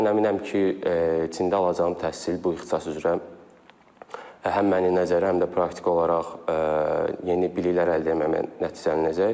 Mən əminəm ki, Çində alacağım təhsil bu ixtisas üzrə həm məni nəzəri, həm də praktiki olaraq yeni biliklər əldə etməyinə nəticələcək.